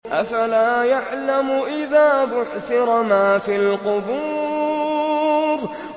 ۞ أَفَلَا يَعْلَمُ إِذَا بُعْثِرَ مَا فِي الْقُبُورِ